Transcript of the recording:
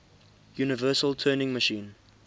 universal turing machine